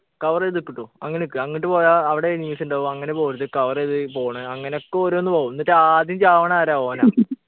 cover ചെയ്ത് നിക്ക് ട്ടോ അങ്ങനിക്ക് അങ്ങട്ട് പോയാ അവിടെ enemies ഉണ്ടാവും അങ്ങനെ പോവരുത് cover ചെയ്ത് പോണം അങ്ങനെയൊക്കെ ഓരോന്ന് പോവും എന്നിട്ടാദ്യം ചാവണതാരാ ഓനാ